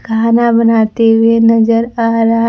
खाना बनाते हुए नजर आ रहा--